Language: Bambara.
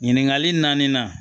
Ɲininkali naani na